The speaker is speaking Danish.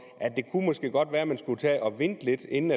at det måske godt kunne være at man skulle tage at vente lidt inden